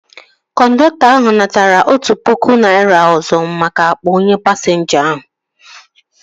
Kọndọktọ ahu natara otụ pụkụ naira ọzọ maka akpa onye pasinja ahu